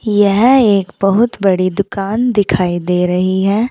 यह एक बहुत बड़ी दुकान दिखाई दे रही है।